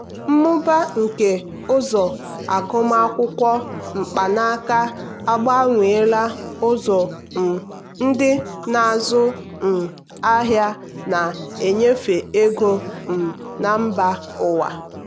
mmụba nke ụzọ akwụmụgwọ mkpanaka agbanweela ụzọ um ndị na-azụ um ahịa na-enyefe ego um na mba ụwa.